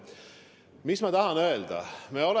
Mis ma tahan öelda?